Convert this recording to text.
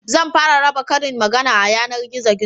Zan fara raba karin magana a yanargizo